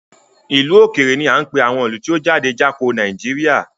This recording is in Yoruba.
Ìlú òkèrè ní á ń pè àwọn ìlú tí ó jáde Jáko Nàìjíríà.